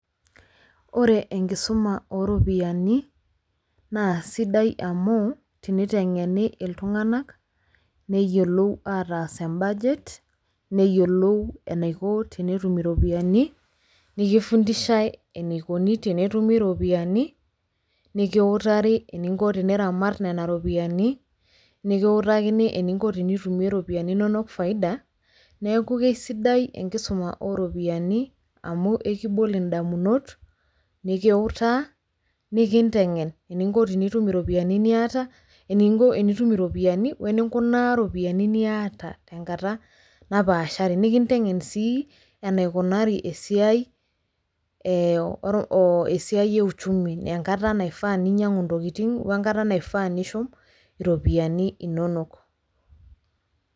ore enkisuma oo ropiyiani naa sidai amu ,te niteng'eni iltunganak neyiolou ataas e budget neyiolou enaiko tenetum iropiyiani, nikifundishae eneikoni tenetumi iropiyiani, eninko teniramat nena ropiyiani. nikiutakini eninko tenitumi iropiyiani inook faida, neeku isidai enkisuma oo ropiyiani. amu ekibol idamunot, nikiutaa, nikitengen. eninko tenitum iropiyiani niata, eninko tenitum iropiyiani weninkunaa, iropiyiani niata tenkata napaasha, nikintegen sii enaikunari esiai ee oo ee esiai e uchumi enkata naifaa ninyiangu ntokitin we nkata naifaa nishum iropiyiani inonok.